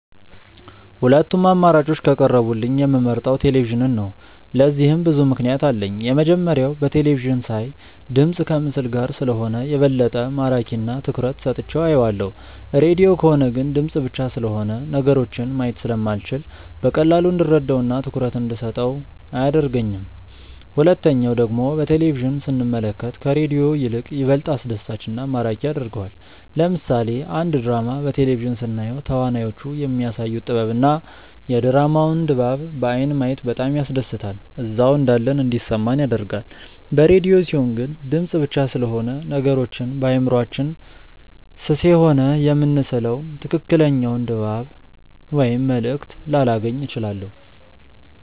ሁለቱም አማራጮች ከቀረቡልኝ የምመርጠው ቴሌቪዥንን ነው። ለዚህም ብዙ ምክንያት አለኝ። የመጀመሪያው በቴለቪዥን ሳይ ድምፅ ከምስል ጋር ስለሆነ የበለጠ ማራኪ እና ትኩረት ሰጥቼው አየዋለሁ። ሬድዮ ከሆነ ግን ድምፅ ብቻ ስለሆነ ነገሮችን ማየት ስለማልችል በቀላሉ እንድረዳው እና ትኩረት እንደሰጠው አያደርገኝም። ሁለተኛው ደግሞ በቴሌቪዥን ስንመለከት ከሬዲዮ ይልቅ ይበልጥ አስደሳች እና ማራኪ ያደርገዋል። ለምሳሌ አንድ ድራማ በቴሌቪዥን ስናየው ተዋናዮቹ የሚያሳዩት ጥበብ እና የድራማውን ድባብ በአይን ማየት በጣም ያስደስታል እዛው እንዳለን እንዲሰማን ያደርጋል። በሬድዮ ሲሆን ግን ድምፅ ብቻ ስለሆነ ነገሮችን በአእምሯችን ስሴሆነ የምንስለው ትክክለኛውን ድባብ ወይም መልእክት ላላገኝ እችላለሁ።